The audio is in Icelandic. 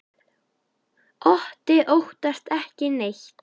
Otti óttast ekki neitt!